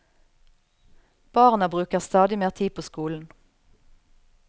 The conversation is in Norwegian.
Barna bruker stadig mer tid på skolen.